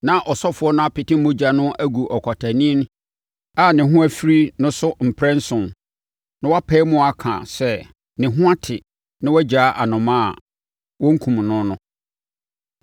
Na ɔsɔfoɔ no apete mogya no agu ɔkwatani a ne ho afiri no so mprɛnson, na wapae mu aka sɛ ne ho ate na wagyaa anomaa a wɔnkum no no.